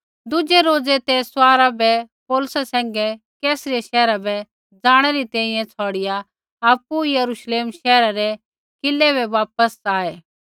दुज़ै रोज़ै ते सवारा बै पौलुसा सैंघै कैसरिया शैहरा बै ज़ाणै री तैंईंयैं छ़ौड़िआ आपु यरूश्लेम शैहरा रै किलै बै वापस आऐ